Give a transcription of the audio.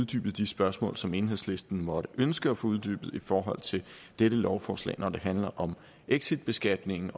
til de spørgsmål som enhedslisten måtte ønske at få uddybet i forhold til dette lovforslag når det handler om exitbeskatningen